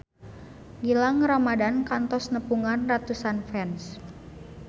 Gilang Ramadan kantos nepungan ratusan fans